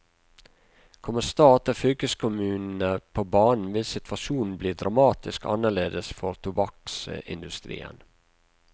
Kommer stat og fylkeskommunene på banen vil situasjonen bli dramatisk annerledes for tobakksindustrien.